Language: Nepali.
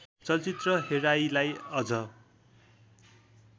चलचित्र हेराइलाई अझ